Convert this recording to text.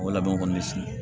O labɛn kɔni bɛ si